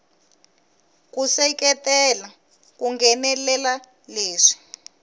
ku seketela ku nghenelela leswi